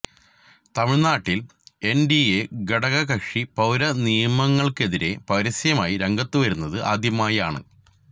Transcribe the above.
തമിഴ്നാട്ടിൽ എൻഡിഎ ഘടക കക്ഷി പൌര നിയമങ്ങൾക്കെതിരെ പരസ്യമായി രംഗത്തുവരുന്നത് ആദ്യമായാണ്